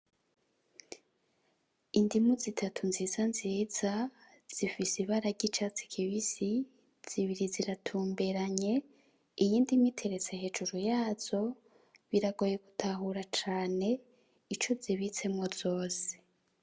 Indimu zitatu nziza nziza zifise ibara ry'icatsi kibisi, zibiri ziratumberanye, iyindi imwe iteretse hejuru yazo biragoye gutahura cane ico zibitsemwo zose.